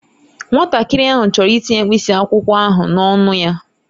Nwatakịrị ahụ chọrọ itinye mkpịsị akwụkwọ ahụ n'ọnụ ya